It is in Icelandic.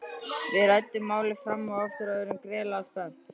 Við ræddum málið fram og aftur og urðum gríðarlega spennt.